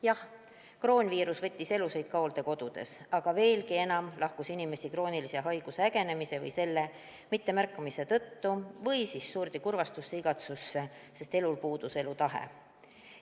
Jah, kroonviirus võttis elusid ka hooldekodudes, aga veelgi enam lahkus inimesi kroonilise haiguse ägenemise või selle mittemärkamise tõttu või surdi kurvastusse, igatsusse, sest puudus elutahe.